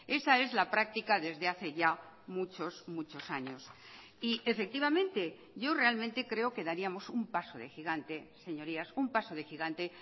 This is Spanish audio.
esa es la práctica desde hace ya muchos muchos años y efectivamente yo realmente creo que daríamos un paso de gigante señorías un paso de gigante